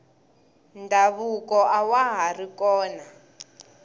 ndhavuko awa hari kona